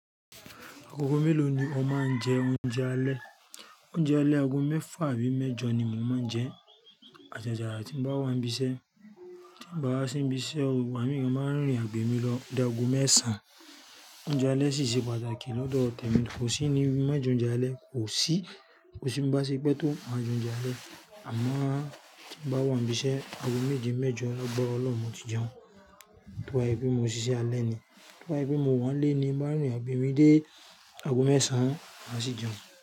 Agogo mélòó ni o máa ń jẹ oúnjẹ alẹ́? Oúnjẹ alẹ́ ago mẹ́fà àbí mẹ́jọ ni mò ń jẹ. Àjàjà ti n bá wá ń bisẹ́. Tí n bá wa sí nbi iṣẹ́ o, igbamì máa ń rìn àgbèrè mi lọ o dá ago mẹ́sàn-án. Oúnjẹ alẹ́ sì ṣe pàtàkì lọ́dọ̀ tẹ̀mi. Kò sí ni mọ jẹ oúnjẹ alẹ́, kò sí. Kò sí n bá ṣe pé tó má jẹ oúnjẹ alẹ́. Àmọ tí n bá wá ń bisẹ́, ago méje, mẹ́jọ lágbára Ọlọ́run mo ti jẹun. To bá ṣe pé mo ṣiṣẹ́ alẹ́ ni. To bá ṣe pé mo wá nlé ni, máa rìn àgbèrè mi dé ago mẹ́sàn-án, màá sì jẹun.